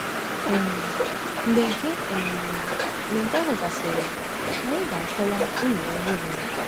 um Mgbe nke um Mgbe nke ahụ gasịrị, anyị ga-akọwa uru ọrụ nwere.